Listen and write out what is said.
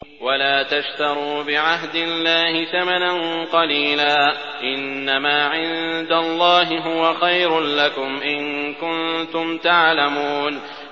وَلَا تَشْتَرُوا بِعَهْدِ اللَّهِ ثَمَنًا قَلِيلًا ۚ إِنَّمَا عِندَ اللَّهِ هُوَ خَيْرٌ لَّكُمْ إِن كُنتُمْ تَعْلَمُونَ